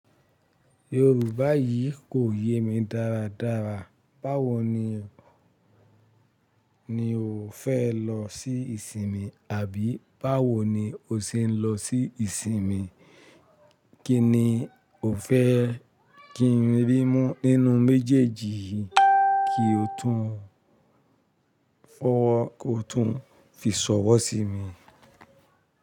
Yorùbá yìí kò yé mi dáradára. Báwo ni, ni o fẹ́ lọ sí ìsinmi? Àbí báwo ni o ṣe ń lọ sí ìsinmi? Kí ni o fẹ́ kí n rí mú nínú méjèèjì yìí kí o tún fọ́wọ́, kí o tún fi ṣọ̀wọ́ sí mi?